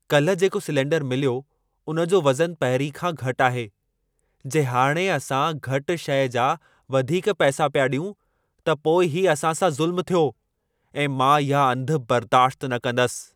काल्हि जेको सिलेंडरु मिलियो उन जो वज़नु पहिरीं खां घटि आहे। जे हाणे असां घटि शइ जा वधीक पैसा पिया ॾियूं त पोइ ही असां सां ज़ुल्मु थियो ऐं मां इहा अंधु बर्दाश्त न कंदसि।